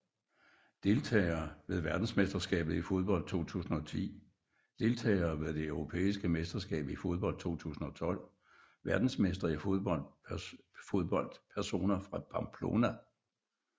Deltagere ved verdensmesterskabet i fodbold 2010 Deltagere ved det europæiske mesterskab i fodbold 2012 Verdensmestre i fodbold Personer fra Pamplona